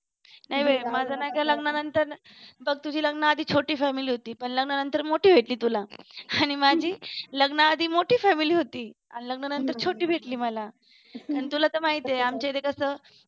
नाही बाई माझं नाही का लग्नानंतर बघ तुझी लग्नाआधी छोटी family होती पण लग्नानंतर मोठी भेटली तुला आणि माझी लग्नाआधी मोठी family होती आणि लग्नानंतर छोटी भेटली मला आणि तुला तर माहीती आमच्या इथे कसं